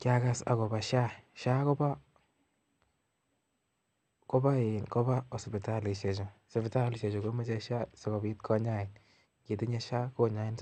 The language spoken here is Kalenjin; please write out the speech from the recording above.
Kiagas agobo Sha,,Sha Kobo sipitali Chu, sipitali komoche Sha sigopit konyain anitinye Sha konyoin